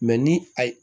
ni a ye